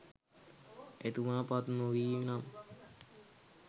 එතුමා පත් නොවීනම්